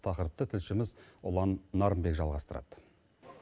тақырыпты тілшіміз ұлан нарынбек жалғастырады